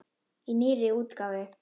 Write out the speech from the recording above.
Í nýrri útgáfu!